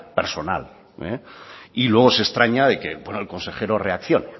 personal y luego se extraña de que el consejero reaccione